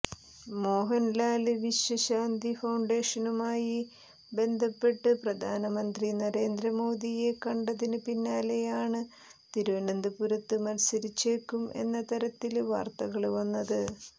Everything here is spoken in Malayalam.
മോഹന്ലാല് വിശ്വശാന്തി ഫൌണ്ടേഷനുമായി ബന്ധപ്പെട്ട് പ്രധാനമന്ത്രി നരേന്ദ്ര മോദിയെ കണ്ടതിന് പിന്നാലെയാണ് തിരുവനന്തപുരത്ത് മത്സരിച്ചേക്കും എന്ന തരത്തില് വാര്ത്തകള് വന്നത്